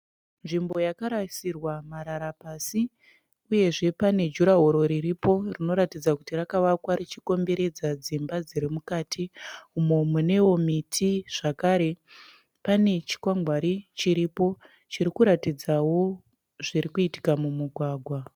Nzvimbo yakarasirwa marara pasi uyezve pane jurahoro riripo rinoratidza kuti rakavakwa richikomberedza dzimba dziri mukati umo munewo miti zvakare. Pane chikwangwari chiripo chirikuratidzawo zvirikuitika mumugwagwa.